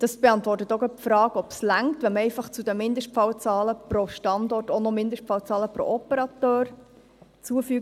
» Dies beantwortet auch gleich die Frage, ob es reicht, wenn man zu den Mindestfallzahlen pro Standort auch noch die Mindestfallzahlen pro Operateur hinzufügt.